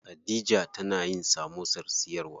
Khadija tana yin samosar siyarwa.